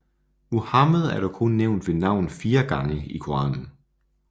Muhammed er dog kun nævnt ved navn fire gange i Koranen